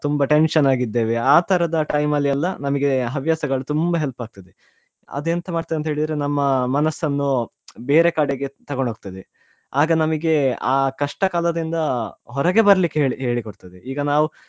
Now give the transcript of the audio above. ತುಂಬಾ tension ಆಗಿದ್ದೇವೆ ಆ ತರದ time ಅಲ್ಲಿ ಎಲ್ಲ ನಮ್ಗೆ ಹವ್ಯಾಸಗಳು ತುಂಬಾ help ಆಗ್ತದೆ ಅದ್ ಎಂತ ಮಾಡ್ತದೆ ಅಂತ ಹೇಳಿದ್ರೆ ನಮ್ಮ ಮನಸನ್ನು ಬೇರೆ ಕಡೆಗೆ ತಗೊಂಡ್ ಹೊಗ್ತದೆ ಆಗ ನಮಿಗೆ ಆ ಕಷ್ಟ ಕಾಲದಿಂದ ಹೊರಗೆ ಬರ್ಲಿಕ್ಕೆ ಹೇಳ್~ ಹೇಳಿ ಕೊಡ್ತದೆ ಈಗ ನಾವು.